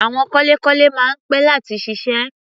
Àwọn kọ́lékọ́lé máa ń pẹ́ láti ṣiṣẹ́.